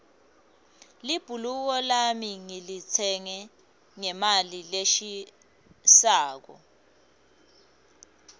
libhuluko lami ngilitsenge ngemali leshisako